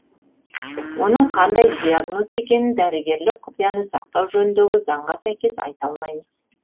оның қандай диагноз екенін дәрігерлік құпияны сақтау жөніндегі заңға сәйкес айта алмаймыз